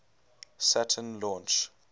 saturn launch